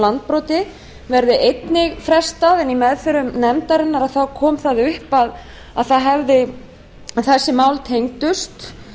landbroti verði einnig frestað í meðförum nefndarinnar kom það upp að þessi mál tengdust